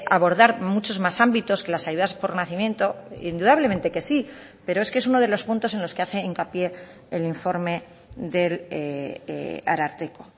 abordar muchos más ámbitos que las ayudas por nacimiento indudablemente que sí pero es que es uno de los puntos en los que hace hincapié el informe del ararteko